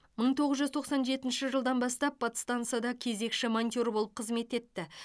мың тоғыз жүз тоқсан жетінші жылдан бастап подстансада кезекші монтер болып қызмет етті